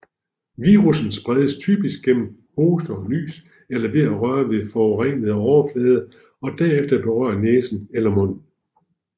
Virussen spredes typisk gennem hoste og nys eller ved at røre ved forurenede overflader og derefter berøre næsen eller munden